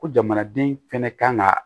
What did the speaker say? Ko jamanaden fɛnɛ kan ka